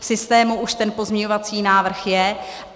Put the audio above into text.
V systému už ten pozměňovací návrh je.